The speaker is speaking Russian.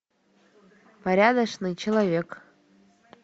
порядочный человек